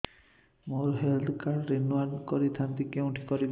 ମୋର health card renew କରିଥାନ୍ତି କୋଉଠି କରିବି